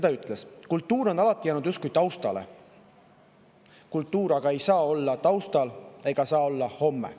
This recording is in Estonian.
Ta ütles, et kultuur on alati jäänud justkui taustale, kultuur aga ei saa olla taustal ega saa olla homme.